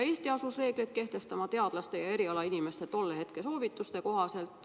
Eesti asus reegleid kehtestama teadlaste ja muude erialainimeste tolle hetke soovituste kohaselt.